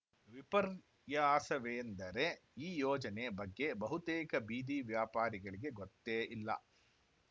ವಿಪರ್ಯಾಸವೆಂದರೆ ಈ ಯೋಜನೆ ಬಗ್ಗೆ ಬಹುತೇಕ ಬೀದಿ ವ್ಯಾಪಾರಿಗಳಿಗೆ ಗೊತ್ತೇ ಇಲ್ಲ